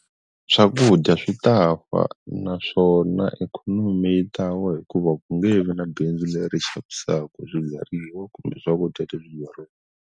Swakudya swi ta fa naswona ikhonomi yi ta wa hikuva ku nge vi na bindzu leri xavisaku swibyariwa kumbe swakudya .